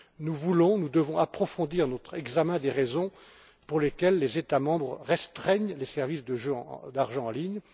Nous devons approfondir notre examen des raisons pour lesquelles les États membres restreignent les services de jeux d'argent en ligne.